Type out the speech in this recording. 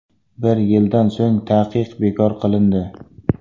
Bir yildan so‘ng taqiq bekor qilindi.